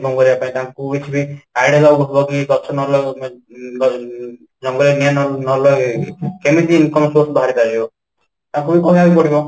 କରିବା ପାଇଁ ତାଙ୍କୁ କିଛି ବି ଗଛ ନ ଲଗେଇବା ପାଇଁ ଊଂ ଜଙ୍ଗଲ ରେ ନିଆଁ ନ ଲଗେଇବା ପାଇଁ କେମିତି income source ବାହାରି ପାରିବ ତାଙ୍କୁ ବି କହିବାକୁ ପଡିବ